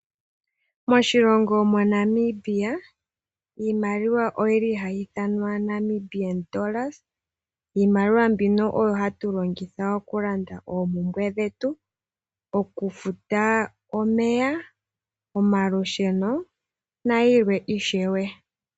Moshilongo mo Namibia, Iimaliwa oyili hayi ithanwa Namibian dollars, Iimaliwa mbino oyo hayi longithwa oku panda oompumbwe dhetu, oku futa omeya omalusheno na yilwe ishewe.